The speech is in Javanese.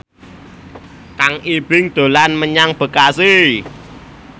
Kang Ibing dolan menyang Bekasi